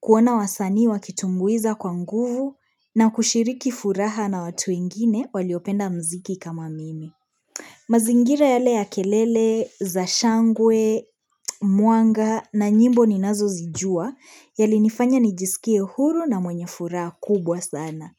kuona wasanii wakitumbuiza kwa nguvu na kushiriki furaha na watu wengine waliopenda muziki kama mimi. Mazingira yale ya kelele za shangwe, mwanga na nyimbo ninazozijua yalinifanya nijiskie huru na mwenye furaha kubwa sana.